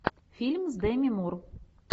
фильм с деми мур